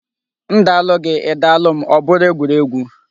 Ndalụ gị, Ị dalụ m, ọbụrụ egwuregwu.